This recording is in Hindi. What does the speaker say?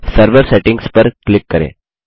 अब सर्वर सेटिंग्स पर क्लिक करें